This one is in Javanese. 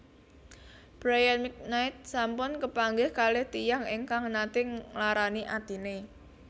Bryan McKnight sampun kepanggih kalih tiyang ingkang nate nglarani atine